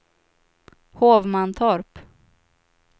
Hovmantorp